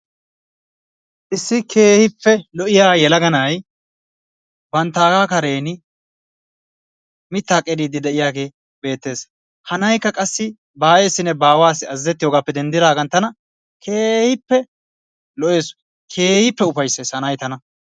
Issi keehippe lo'iya yelaga na'ay banttaaga karen mittaa qeriddi de'iyagee beettees. Ha na'aykka qassi ba aayeessinne ba aawassi azzazettiyogappe denddidaagan tana keehippe lo'ees keehippe ufayssees ha na'ay tana.